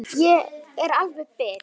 Ég er alveg bit!